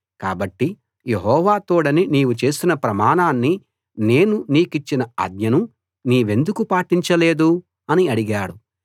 కాబట్టి యెహోవా తోడని నీవు చేసిన ప్రమాణాన్ని నేను నీకిచ్చిన ఆజ్ఞను నీవెందుకు పాటించలేదు అని అడిగాడు